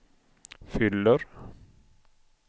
fyller